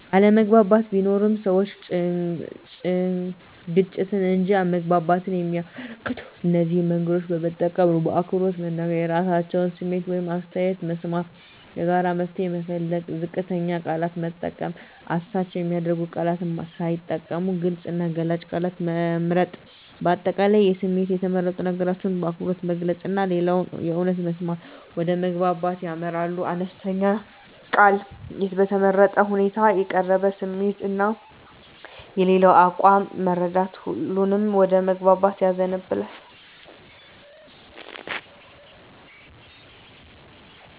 አለመግባባት ቢኖርም፣ ሰዎች ግጭትን እንጂ መግባባትን የሚያበረከቱት እነዚህን መንገዶች በመጠቀም ነው በአክብሮት መናገር – የራሳቸውን ስሜት ወይም አስተያየት መስማት ጋራ መፍትሄ መፈለግ ዝቅተኛ ቃላት መጠቀም – አሳች የሚያደርጉ ቃላት ሳይጠቀሙ ግልጽ እና ገላጭ ቃላት መምረጥ። አጠቃላይ በስሜት የተመረጡ ነገሮችን በአክብሮት መግለጽ እና ሌላውን በእውነት መስማት ወደ መግባባት ያመራል። አነስተኛ ቃል በተመረጠ ሁኔታ የተቀረበ ስሜት እና የሌላው አቋም መረዳት ሁሉንም ወደ መግባባት ያዘንባል።